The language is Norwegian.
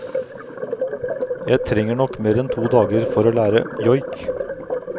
Jeg trenger nok mer enn to dager for å lære joik.